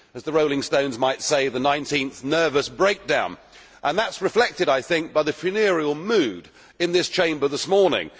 As the Rolling Stones might say, the 19th nervous breakdown, and that is reflected I think by the funereal mood in this Chamber this morning.